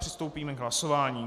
Přistoupíme k hlasování.